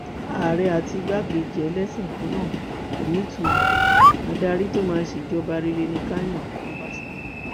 ààrẹ àti igbákejì ẹlẹsìn kan náà kò nítumọ adarí tó máa ṣèjọba rere ni ká yan ọbaṣà